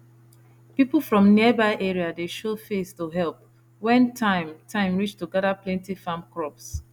people from nearby area dey show face to help when time time reach to gather plenty farm crops